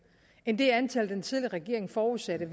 end det antal den tidligere regering forudsatte